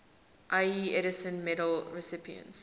ieee edison medal recipients